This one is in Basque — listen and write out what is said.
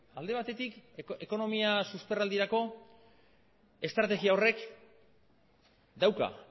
alde batetik ekonomia susperraldirako estrategia horrek dauka